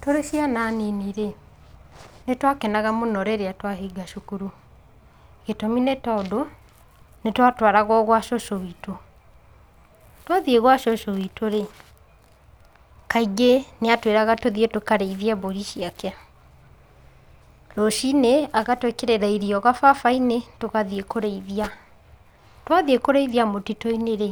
Tũrĩ ciana nini mũno-rĩ, nĩ twakenaga mũno rĩrĩa twahinga cukuru. Gĩtũmi nĩ tondũ, twahinga nĩ twatũaragwo gwa cũcũ witũ. Twathiĩ gwa cucu witũ-rĩ, kaingĩ nĩ atwĩraga tũthiĩ tũkarĩithie mbũri ciake. Rũciinĩ agatwĩkĩrĩra irio gababa-inĩ tugathiĩ kũrĩithia. Twathiĩ kũrĩithia mũtitũ-inĩrĩ,